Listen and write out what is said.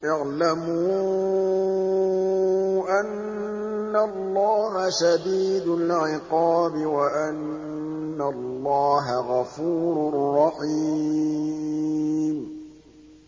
اعْلَمُوا أَنَّ اللَّهَ شَدِيدُ الْعِقَابِ وَأَنَّ اللَّهَ غَفُورٌ رَّحِيمٌ